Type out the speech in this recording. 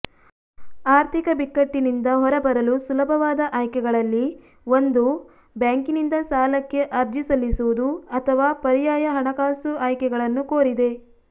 ಆರ್ಥಿಕ ಬಿಕ್ಕಟ್ಟಿನಿಂದ ಹೊರಬರಲು ಸುಲಭವಾದ ಆಯ್ಕೆಗಳಲ್ಲಿ ಒಂದು ಬ್ಯಾಂಕಿನಿಂದ ಸಾಲಕ್ಕೆ ಅರ್ಜಿ ಸಲ್ಲಿಸುವುದು ಅಥವಾ ಪರ್ಯಾಯ ಹಣಕಾಸು ಆಯ್ಕೆಗಳನ್ನು ಕೋರಿದೆ